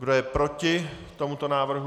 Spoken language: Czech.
Kdo je proti tomuto návrhu?